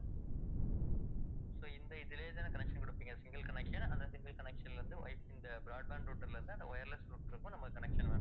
இதுலையே தானே connection குடுப்பிங்க, single connection அந்த single connection ல இருந்து wifi இந்த broadband router ல இருந்து அந்த wireless router கும் நம்ம connection வேணும்.